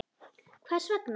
Hvers vegna.